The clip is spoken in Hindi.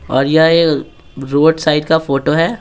और यह रोड साइड का फोटो है।